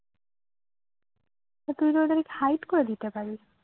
তো তুই ওদেরকে hide করে দিতে পারিস